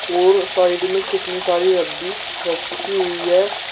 और साइड में कितनी सारी रद्दी रखी हुई है।